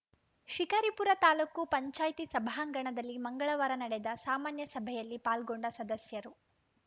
ಶಿಕಾರಿಪುರ ತಾಲೂಕು ಪಂಚಾಯ್ತಿ ಸಭಾಂಗಣದಲ್ಲಿ ಮಂಗಳವಾರ ನಡೆದ ಸಾಮಾನ್ಯ ಸಭೆಯಲ್ಲಿ ಪಾಲ್ಗೊಂಡ ಸದಸ್ಯರು